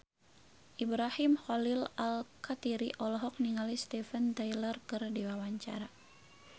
Ibrahim Khalil Alkatiri olohok ningali Steven Tyler keur diwawancara